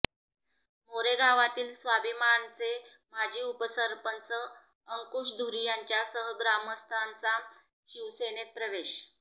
मोरे गावातील स्वाभिमानचे माजी उपसरपंच अंकुश धुरी यांच्यासह ग्रामस्थांचा शिवसेनेत प्रवेश